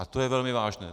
A to je velmi vážné.